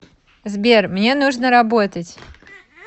сбер мне нужно работать